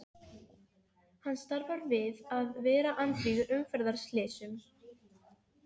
Hann starfar við að vera andvígur umferðarslysum.